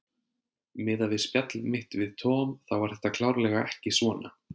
Miðað við spjall mitt við Tom þá var þetta klárlega ekki svona.